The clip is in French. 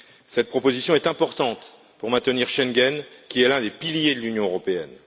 Cette proposition est importante pour maintenir Schengen, qui est l'un des piliers de l'Union européenne.